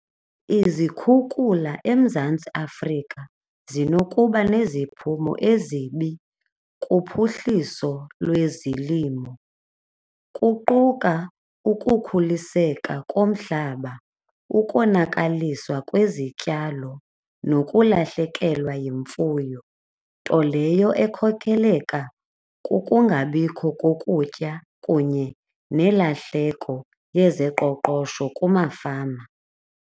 Izikhukhula eMzantsi Afrika zinokuba neziphumo ezibi kuphuhliso lwezilimo kuquka ukukhuliseka komhlaba, ukonakalisa kwezityalo nokulahlekelwa yimfuyo nto leyo ekhokeleka kukungabikho kokutya kunye nelahleko yezoqoqosho kumafama.